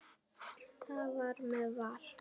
Það var með Val.